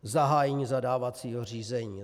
Zahájení zadávacího řízení.